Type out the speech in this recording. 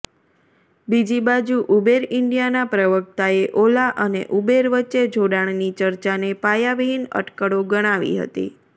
બીજીબાજુ Uber ઈન્ડિયાના પ્રવક્તાએ ઓલા અને ઉબેર વચ્ચે જોડાણની ચર્ચાને પાયાવિહિન અટકળો ગણાવી હતી